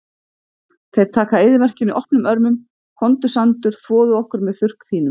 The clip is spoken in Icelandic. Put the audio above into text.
Þeir taka eyðimörkinni opnum örmum, komdu sandur, þvoðu okkur með þurrk þínum.